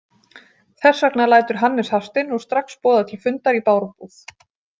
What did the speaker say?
Þess vegna lætur Hannes Hafstein nú strax boða til fundar í Bárubúð.